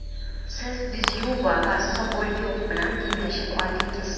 Siz Dzyuba va Sobolyov bilan tenglashib oldingiz.